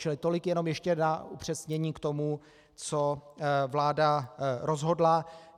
Čili tolik jenom ještě na upřesnění k tomu, co vláda rozhodla.